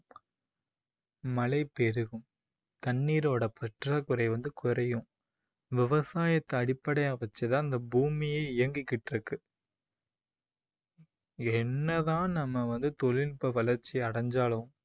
மழை பெருகும். தண்ணீரோட பற்றாக்குறை வந்து குறையும். விவசாயத்தை அடிப்படையா வச்சு தான் இந்த பூமியே இயங்கிகிட்டு இருக்கு என்ன தான் நம்ம வந்து தொழில்நுட்ப வளர்ச்சி அடைஞ்சாலும்